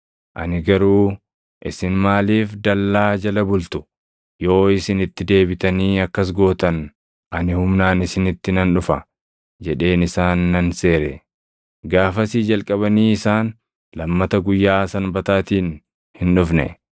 Ani garuu, “Isin maaliif dallaa jala bultu? Yoo isin itti deebitanii akkas gootan ani humnaan isinitti nan dhufa” jedheen isaan nan seere. Gaafasii jalqabanii isaan lammata guyyaa Sanbataatiin hin dhufne.